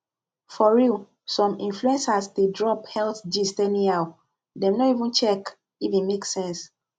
for real some influencers dey drop health gist anyhow dem no even check if e make sense